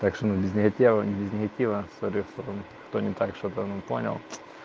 так что мы без негатива не без негатива с обеих сторон кто не так что-то понял